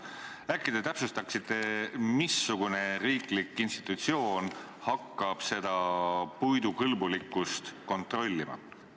Äkki te täpsustate, missugune riiklik institutsioon hakkab puidu kõlblikkust kontrollima.